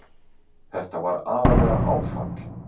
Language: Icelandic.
Þetta var aðallega áfall.